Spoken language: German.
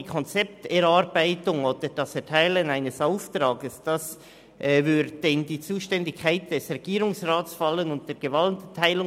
Die Konzepterarbeitung oder die Erteilung eines Auftrags falle in die Zuständigkeit des Regierungsrats und widerspreche der Gewaltenteilung.